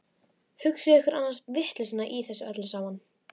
Hugsið ykkur annars vitleysuna í þessu öllu saman!